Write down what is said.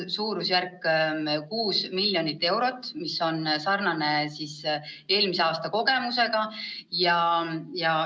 Suurusjärk on 6 miljonit eurot, mis on sama suur summa kui eelmisel aastal.